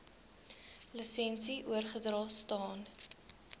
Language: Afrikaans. lisensie oorgedra staan